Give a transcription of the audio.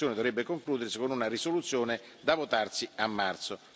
La discussione dovrebbe concludersi con una risoluzione da votarsi a marzo.